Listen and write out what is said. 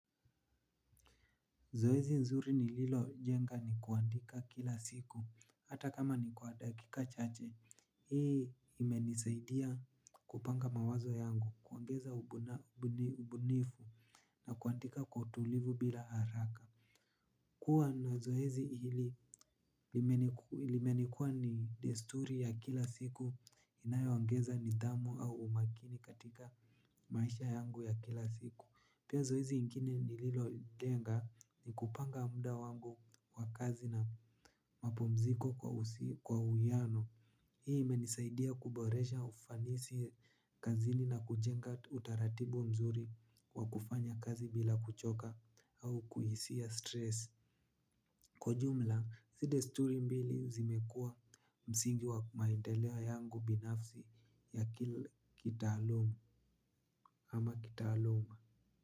Zoezi nzuri ni lilo jenga ni kuandika kila siku, hata kama ni kwa dakika chache, hii imenisaidia kupanga mawazo yangu, kuongeza ubunifu na kuandika kwa utulivu bila haraka. Kuwa na zoezi hili limenikuwa ni desturi ya kila siku inayoongeza nidhamu au umakini katika maisha yangu ya kila siku. Pia zoezi ingine ni lilo jenga ni kupanga muda wangu wa kazi na mapumziko kwa uiano. Hii imenisaidia kuboresha ufanisi kazini na kujenga utaratibu mzuri wa kufanya kazi bila kuchoka au kuhisia stress. Kwa jumla, si desturi mbili zimekua msingi wa maendeleo yangu binafsi ya kila kitaaluma ama kitaaluma.